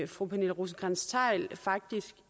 fru pernille rosenkrantz theil faktisk